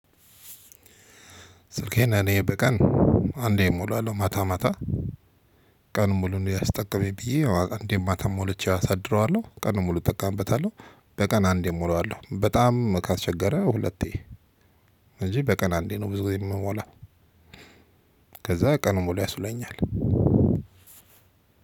ስልኬን እኔ በቀን አንዴ እሞላለው ማታ ማታ ቀን ሙሉን እንድያስጠቀመኝ ብዬ እንዴት ማታም ሞልቼ አሳድረዋለው ቀን ሙሉ እጠቃበታለው በቀን አንዴ እሞራዋለው በጣም ካስቸገረ ሁለቴ እንጂ በቀን አንዴ ነው ብዙ ጊዜ የምሞላው። ከዛ ቀን ሙሉ ያስውለኛል።